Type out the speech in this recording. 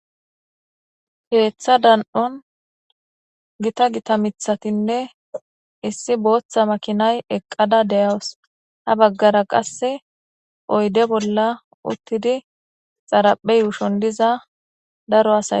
Ketha dan'on gita gita mitatine issi bota makinay eqada de'awus ha bagara oyde bola qase utidi xaraphe yushon diza daro asay dosona.